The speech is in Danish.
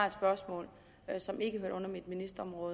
et spørgsmål som ikke hørte under mit ministerområde